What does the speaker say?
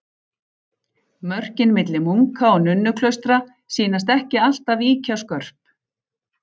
Mörkin milli munka- og nunnuklaustra sýnast ekki alltaf ýkja skörp.